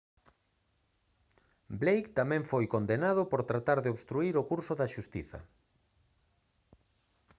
blake tamén foi condenado por tratar de obstruír o curso da xustiza